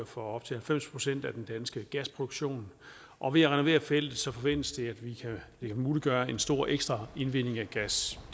for op til halvfems procent af den danske gasproduktion og ved at renovere feltet forventes det at vi muliggør en stor ekstra indvinding af gas